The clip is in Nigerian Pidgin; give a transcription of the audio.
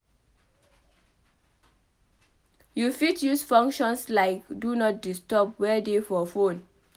You fit use functions like Do Not Disturb wey dey for phone